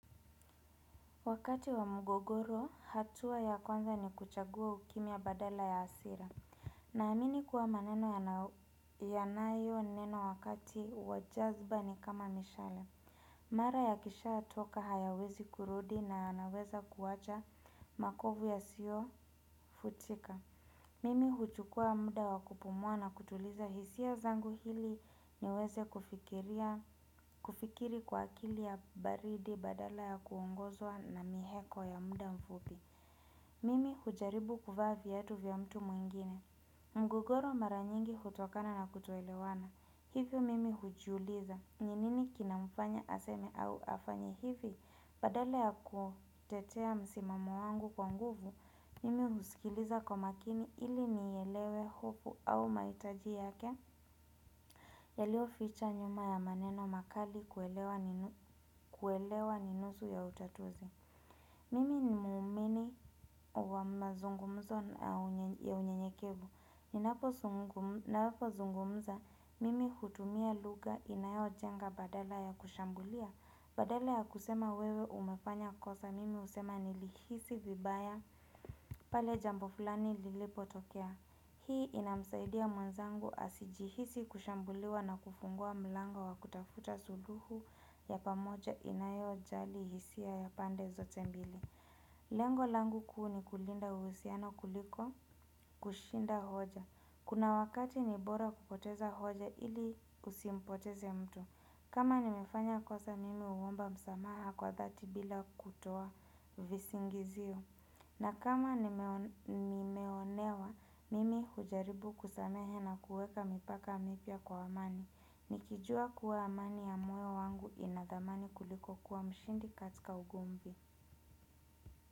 Wakati wa mgogoro, hatua ya kwanza ni kuchagua ukimya badala ya hasira. Na amini kuwa maneno ya nayo nenwa wakati wa jazba ni kama mishale. Mara ya kisha atoka hayawezi kurudi na yanaweza kuwacha makovu ya siyo futika. Mimi huchukua muda wakupumua na kutuliza hisia zangu hili niweze kufikiri kwa akili ya baridi badala ya kuongozwa na miheko ya muda mfupi. Mimi hujaribu kuvaa vyatu vya mtu mwingine. Mgogoro maranyingi hutokana na kutolewana. Hivyo mimi hujiuliza. Ninini kinamfanya aseme au afanya hivi badala ya kutetea msimamo wangu kwa nguvu. Mimi husikiliza kwa makini ili nielewe hofu au mahitaji yake yaliyo ficha nyuma ya maneno makali kuelewa ninusu ya utatuzi Mimi ni muumini wa mazungumzo ya unyenyekevu Ninapo zungumza mimi hutumia lugha inayo jenga badala ya kushambulia Badala ya kusema wewe umefanya kosa mimi husema nilihisi vibaya pale jambo fulani lilipo tokea. Hii inamsaidia mwenzangu asijihisi kushambuliwa na kufungua mlango wa kutafuta suluhu ya pamoja inayo jali hisia ya pande zote mbili. Lengo langu kuu ni kulinda uhusiano kuliko kushinda hoja. Kuna wakati ni bora kupoteza hoja ili usimpoteze mtu. Kama nimefanya kosa mimi huomba msamaha kwa dhati bila kutoa visingiziyo. Na kama nimeonewa, mimi hujaribu kusamehe na kuweka mipaka mipya kwa amani. Nikijua kuwa amani ya muwe wangu inadhamani kuliko kuwa mshindi katika ugomvi.